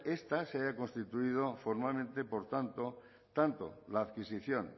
esta se haya constituido formalmente por tanto tanto la adquisición